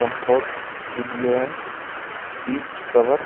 comfort studio है seat cover --